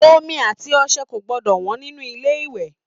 Omi àti ọṣẹ kò gbọdọ wọ́n nínú ilé ìwẹ̀